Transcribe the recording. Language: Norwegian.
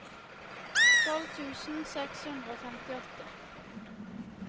tolv tusen seks hundre og femtiåtte